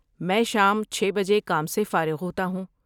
میں شام چھے بجے کام سے فارغ ہوتا ہوں